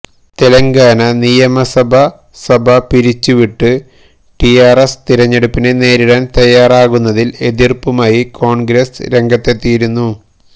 തെലങ്കാന നിയമസഭസഭ പിരിച്ചുവിട്ട് ടിആര്എസ് തിരഞ്ഞെടുപ്പിനെ നേരിടാന് തയ്യാറാകുന്നതില് എതിര്പ്പുമായി കോണ്ഗ്രസ് രംഗത്തെത്തിയിരുന്നു